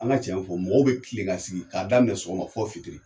An ka cɛ fɔ mɔgɔw bɛ kilen ka sigi ka daminɛ sɔgɔma fɔ fitiri.